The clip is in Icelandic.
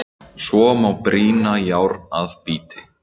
Svo má brýna járn að bíti.